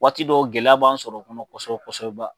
Waati dɔw gɛlɛya b'an sɔrɔ o kɔnɔ kosɛbɛ kosɛbɛba.